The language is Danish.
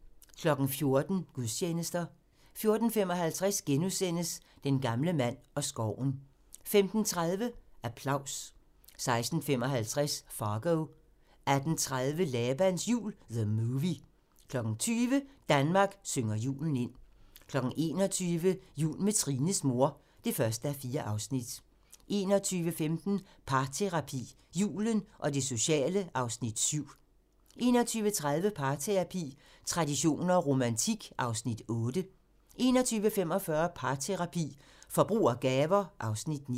14:00: Gudstjenester 14:55: Den gamle mand og skoven * 15:30: Applaus 16:55: Fargo 18:30: Labans jul - The Movie 20:00: Danmark synger julen ind 21:00: Jul med Trines mor (1:4) 21:15: Parterapi - Julen og det sociale (Afs. 7) 21:30: Parterapi - traditioner og romantik (Afs. 8) 21:45: Parterapi - Forbrug og gaver (Afs. 9)